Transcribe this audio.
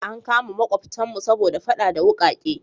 An kama makwabtanmu saboda fada da wukake.